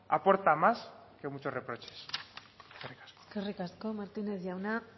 aporta más que muchos reproches eskerrik asko eskerrik asko martínez jauna